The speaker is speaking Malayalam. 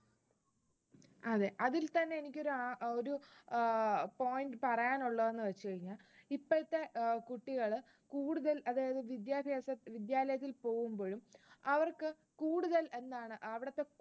അതെ, അതിൽ തന്നെ എനിക്കൊരു ആഹ് ഒരു point പറയാനുഉള്ളത് എന്ന് വെച്ചു കഴിഞ്ഞാൽ ഇപ്പോഴത്തെ ഏർ കുട്ടികൾ കൂടുതലും അതായത് വിദ്യാലയത്തിൽ പോകുമ്പോഴും, അവർക്ക് കൂടുതൽ എന്താണ് അവിടത്തെ